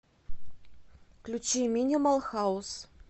включи минимал хаус